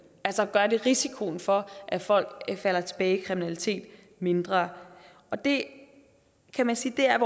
altså gør det risikoen for at folk falder tilbage i kriminalitet mindre og det kan man sige er